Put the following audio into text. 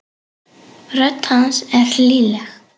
Rödd hans er hlýleg.